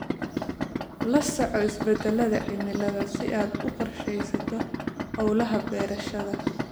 La soco isbeddellada cimilada si aad u qorsheysato hawlaha beerashada.